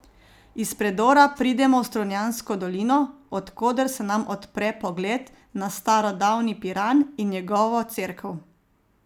Iz predora pridemo v Strunjansko dolino, od koder se nam odpre pogled na starodavni Piran in njegovo cerkev.